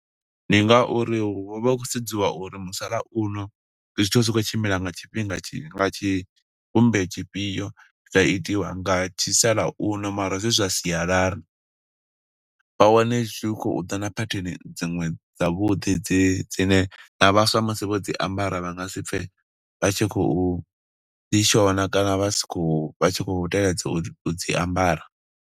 Ndi nga uri hu vha hu khou sedziwa uri musalauno, ndi zwithu zwi tshi khou tshimbila nga tshifhinga tshi, nga tshi vhumbe tshifhio. Zwa itiwa nga tshi musalauno mara zwi zwa sialala. Vha wane zwi khou ḓa na pattern dziṅwe dza vhuḓi, dzi dzine na vhaswa musi vho dzi ambara vha nga si pfe vha tshi khou ḓi shona, kana si tshi khou, vha tshi khou teledza u dzi ambara.